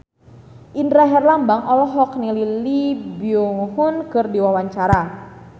Indra Herlambang olohok ningali Lee Byung Hun keur diwawancara